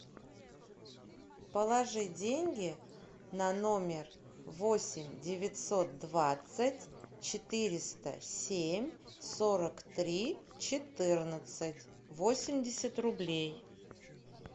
положи деньги на номер восемь девятьсот двадцать четыреста семь сорок три четырнадцать восемьдесят рублей